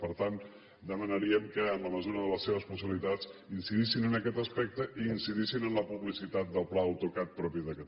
per tant demanaríem que en la mesura de les seves possibilitats incidissin en aquest aspecte i incidissin en la publicitat del pla autocat propi de catalunya